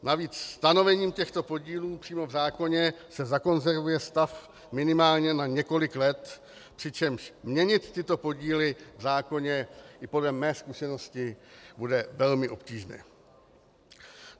Navíc stanovením těchto podílů přímo v zákoně se zakonzervuje stav minimálně na několik let, přičemž měnit tyto podíly v zákoně i podle mé zkušenosti bude velmi obtížné.